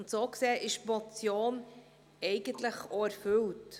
Und, so gesehen, sind die Forderungen der Motion eigentlich auch erfüllt.